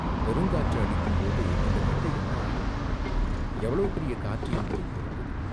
"பெருங்காற்று அடிக்கும்போது இந்தக் கட்டை என்ன ஆகும்?" "எவ்வளவு பெரிய காற்று என்பதைப் பொறுத்தது.